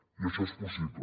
i això és possible